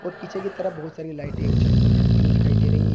पीछे की तरफ बहुत सारी लाइटें और छत पर जलती हुई दिखाई दे रही--